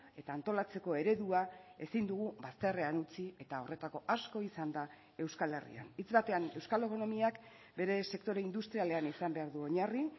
eta antolatzeko eredua ezin dugu bazterrean utzi eta horretako asko izan da euskal herrian hitz batean euskal ekonomiak bere sektore industrialean izan behar du oinarri